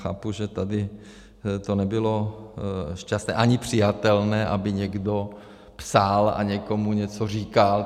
Chápu, že tady to nebylo šťastné ani přijatelné, aby někdo psal a někomu něco říkal.